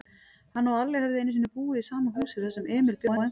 Hann og Alli höfðu einusinni búið í sama húsi, þar sem Emil bjó ennþá.